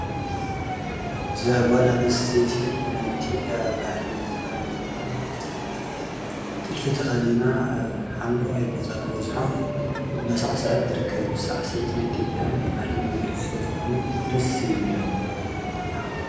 ዛጓል ኣነስተይቲ ብናይ ኢቲዮጵያ ባሕሊ ዘተኸደነኽዳን ዝተጠለፈ ጥልፊ ተኸዲና ኣብ ሓምለዋይ ቦታ ዝወዝሖ እናሠዕሰዐት ትርከብ ሠዕስዐት ናይ ኢቲዮጵያ ናይ ባህልና መግለፂ ሱለ ዝኾነ ደስ ይብለኒ።